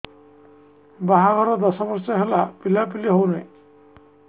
ବାହାଘର ଦଶ ବର୍ଷ ହେଲା ପିଲାପିଲି ହଉନାହି